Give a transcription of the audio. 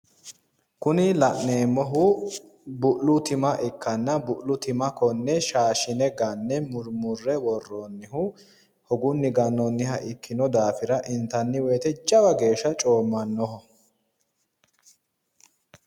Kuni la'neemmohu bu'lu tima ikkanna bu'lu tima konne shaashine gannanniha ikkanna kone bu'la intanni woyite lowo geeshsha coommannoho.